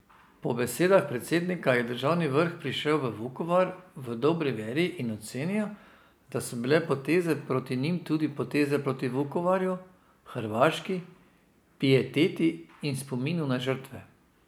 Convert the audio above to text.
Po besedah predsednika je državni vrh prišel v Vukovar v dobri veri in ocenil, da so bile poteze proti njim tudi poteze proti Vukovarju, Hrvaški, pieteti in spominu na žrtve.